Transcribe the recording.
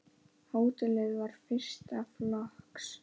Hótelið var fyrsta flokks.